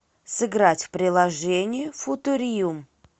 сыграть в приложение футуриум